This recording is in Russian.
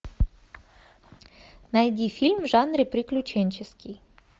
найди фильм в жанре приключенческий